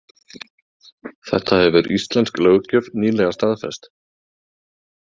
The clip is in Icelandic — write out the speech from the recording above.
Þetta hefur íslensk löggjöf nýlega staðfest.